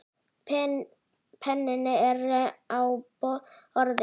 Penninn er á borðinu.